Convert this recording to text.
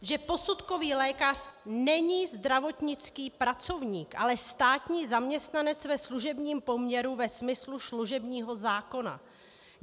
- že posudkový lékař není zdravotnický pracovník, ale státní zaměstnanec ve služebním poměru ve smyslu služebního zákona.